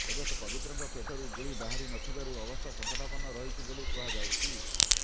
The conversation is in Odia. ତେବେ ପବିତ୍ରଙ୍କ ପେଟରୁ ଗୁଳି ବାହାରି ନ ଥିବାରୁ ଅବସ୍ଥା ସଂକଟାପନ୍ନ ରହିଛି ବୋଲି କୁହାଯାଉଛି